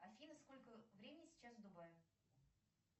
афина сколько времени сейчас в дубае